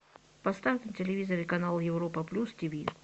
поставь на телевизоре канал европа плюс тиви